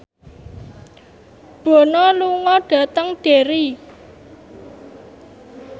Bono lunga dhateng Derry